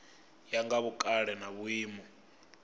ya nga vhukale na vhuimo